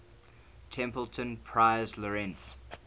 templeton prize laureates